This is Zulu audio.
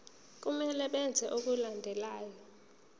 kumele benze okulandelayo